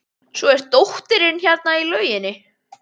Svo er dóttirin hérna í lauginni.